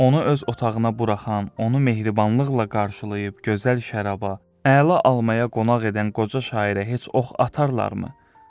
onu öz otağına buraxan, onu mehribanlıqla qarşılayıb gözəl şəraba, əla almaya qonaq edən qoca şairə heç ox atarlarmı?